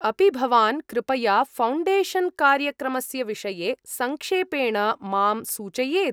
अपि भवान् कृपया फौण्डेशन्कार्यक्रमस्य विषये सङ्क्षेपेण मां सूचयेत्?